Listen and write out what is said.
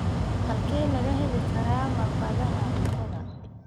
Halkee laga heli karaa malqacadaha cuntada?